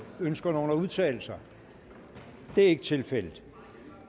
ønsker nogen at udtale sig det er ikke tilfældet